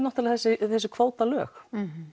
þessi kvótalög